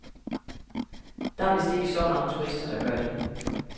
Der er vist ikke så mange turister, der gør det.